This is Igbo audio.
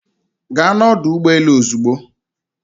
Gaa n'ọdụ ụgbọ elu ozugbo.